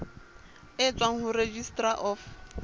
e tswang ho registrar of